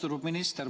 Austatud minister!